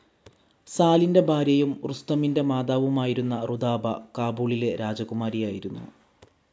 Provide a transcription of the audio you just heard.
സാലിന്റെ ഭാര്യയും റുസ്തമിന്റെ മാതാവുമായിരുന്ന റുദാബ, കാബൂളിലെ രാജകുമാരിയായിരുന്നു.